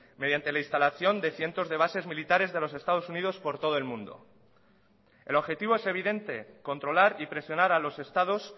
mediante la instalación de cientos de bases militares de los estados unidos por todo el mundo el objetivo es evidente controlar y presionar a los estados